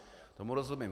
Tomu rozumím.